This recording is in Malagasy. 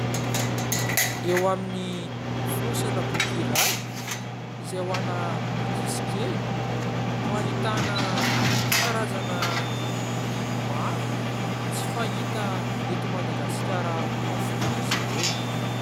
Eo amin'ny fonosana boky iray izay ho an'ny ankizy kely no ahitana karazana biby maro, tsy fahita eto Madagasikara avokoa izy ireo.